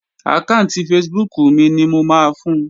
Àkáànti Facebook mi ni mo máa fun